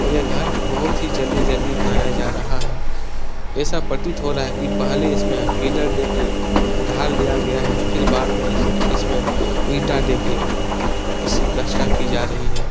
और ये घर बहुत ही जल्दी-जल्दी बनाया जा रहा है। ऐसा पर्तित हो रहा है कि पहले इसमें पिलर देके ढाल दिया गया है। फिर बाद में इस इसमें इंटा देके इससे प्लास्टर किया जा रहा है।